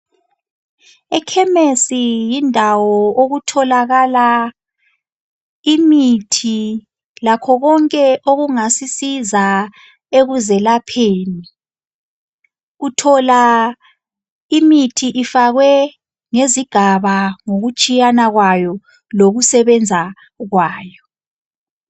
Ekhemesi yindawo okutholakala imithi lakho konke okungasisiza ekuzelapheni, uthola imithi ifake ngezigaba ngokutshiyana kwayo lokusebenza kwayo.